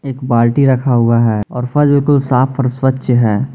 एक बाल्टी रखा हुआ है और फश बिल्कुल साफ और स्वच्छ है।